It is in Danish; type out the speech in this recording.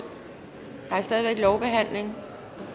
der er stadig væk lovbehandling